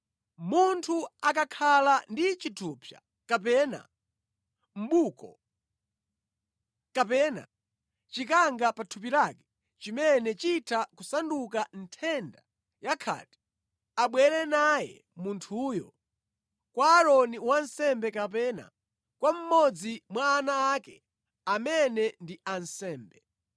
“Munthu akakhala ndi chithupsa, kapena mʼbuko, kapena chikanga pa thupi lake chimene chitha kusanduka nthenda ya khate, abwere naye munthuyo kwa Aaroni wansembe kapena kwa mmodzi mwa ana ake amene ndi ansembe.